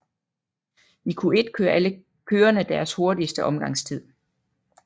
I Q1 kører alle kørerne deres hurtigste omgangstid